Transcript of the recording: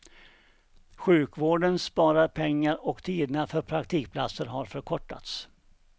Sjukvården sparar pengar och tiderna för praktikplatser har förkortats.